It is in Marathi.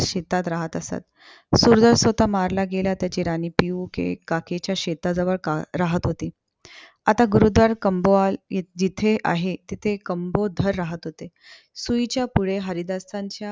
शेतात राहत असत. सुरधर स्वतः मारला गेला. त्याची राणी पियूके काकेच्या शेताजवळ अं राहत होती. आता गुरूद्वाल काम्बोल जिथे आहे. तिथे काम्बोधर राहत होते. सुईच्या पुढे हरिदासानच्या